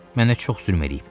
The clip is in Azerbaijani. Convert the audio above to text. Mənə çox zülm eləyib.